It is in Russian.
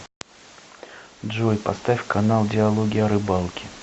джой поставь канал диалоги о рыбалке